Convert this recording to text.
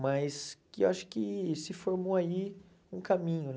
Mas que eu acho que se formou aí um caminho, né?